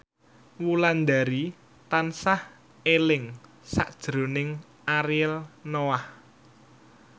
Wulandari tansah eling sakjroning Ariel Noah